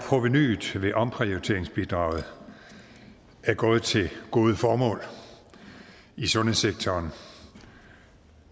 provenuet ved omprioriteringsbidraget er gået til gode formål i sundhedssektoren